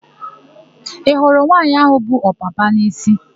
Ị hụrụ nwaanyị áhụ̀ bu ọpapa n'isi?